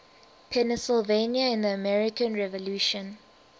pennsylvania in the american revolution